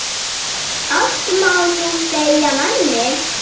Allt má nú segja manni.